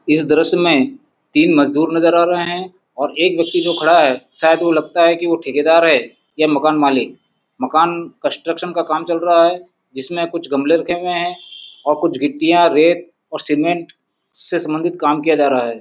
इस दृश्य में तीन मजदूर नजर आ रहे हैं और एक व्यक्ती जो खड़ा है शायद वो लगता है कि वो ठेकेदार है या मकान मालिक मकान कंस्ट्रक्शन का काम चल रहा है जिसमें कुछ गमले रखे हुए हैं और कुछ गिट्टिया रेत और सीमेंट से सभ्न्दित काम किया जा रहा है।